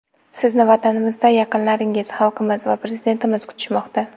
Sizni vatanimizda yaqinlaringiz, xalqimiz va Prezidentimiz kutishmoqda.